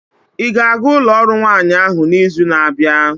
ị ga-aga ụlọ ọrụ nwanyị ahụ n'izu na-abịa?